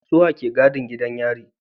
Suwa ke gadin gidan yari